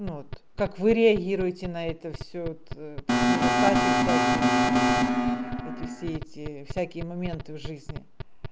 ну вот как вы реагируете на это всё т такие недостачи всякие там эти все эти всякие моменты в жизни